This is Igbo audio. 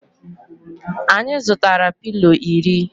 Anyi zutara pilo iri